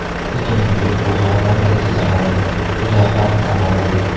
Butun vujud bug‘ yordamida tozalanadi, uzoq vaqt dam oladi.